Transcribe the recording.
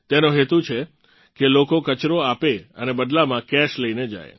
તેનો હેતુ છે કે લોકો કચરો આપે અને બદલામાં કેશ લઇને જાય